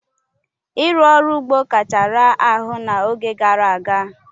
Ịrụ ọrụ ugbo kacha raa ahụ n'oge gara aga.